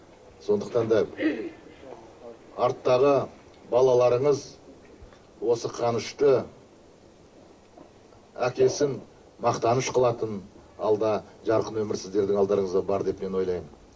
сондықтан да арттағы балаларыңыз осы қанышты әкесін мақтаныш қылатын алда жарқын өмір сіздердің алдарыңызда бар деп мен ойлаймын